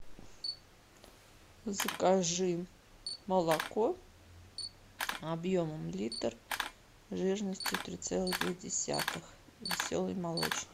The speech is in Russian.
закажи молоко объемом литр жирностью три целых две десятых веселый молочник